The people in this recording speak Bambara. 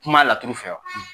Kuma laturu fɛ wa.